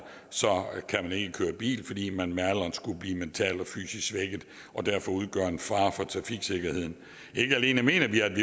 kan man ikke køre bil fordi man med alderen skulle blive mentalt og fysisk svækket og derfor udgør en fare for trafiksikkerheden ikke alene mener vi at vi